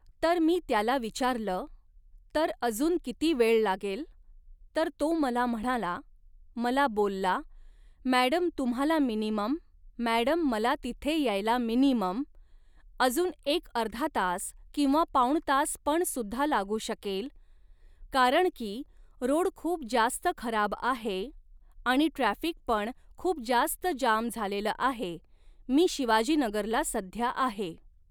तर मी त्याला विचारलं, तर अजून किती वेळ लागेल, तर तो मला म्हणाला, मला बोलला, मॅडम तुम्हाला मिनिमम, मॅडम मला तिथे यायला मिनिमम, अजून एक अर्धा तास किंवा पाऊण तास पण सुद्धा लागू शकेल, कारण की रोड खूप जास्त खराब आहे आणि ट्राफिक पण खूप जास्त जाम झालेलं आहे मी शिवाजीनगरला सध्या आहे.